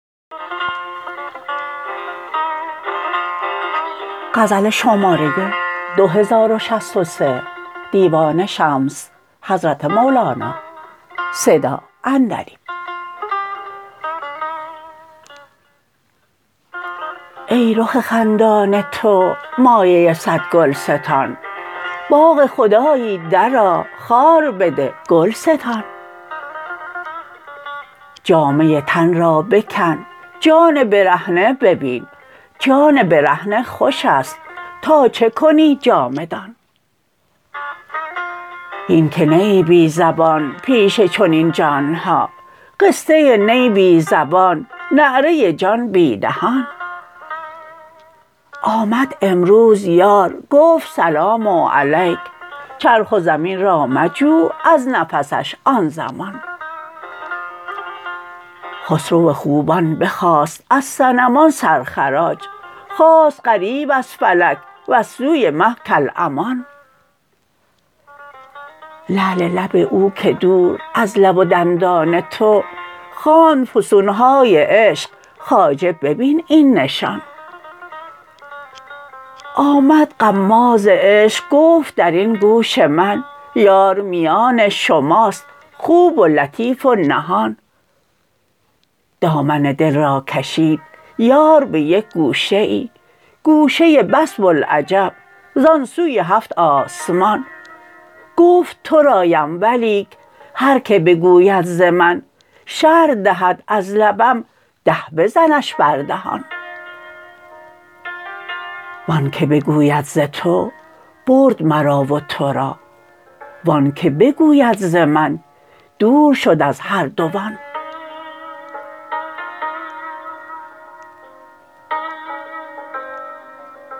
ای رخ خندان تو مایه صد گلستان باغ خدایی درآ خار بده گل ستان جامه تن را بکن جان برهنه ببین جان برهنه خوش است تا چه کنی جامه دان هین که نه ای بی زبان پیش چنین جان ها قصه نی بی زبان نعره جان بی دهان آمد امروز یار گفت سلام علیک چرخ و زمین را مجو از نفسش آن زمان خسرو خوبان بخواست از صنمان سرخراج خاست غریو از فلک وز سوی مه کالامان لعل لب او که دور از لب و دندان تو خواند فسون های عشق خواجه ببین این نشان آمد غماز عشق گفت در این گوش من یار میان شماست خوب و لطیف و نهان دامن دل را کشید یار به یک گوشه ای گوشه بس بوالعجب زان سوی هفت آسمان گفت ترایم ولیک هر که بگوید ز من شرح دهد از لبم ده بزنش بر دهان و آنک بگوید ز تو برد مرا و تو را و آنک بگوید ز من دور شد از هر دوان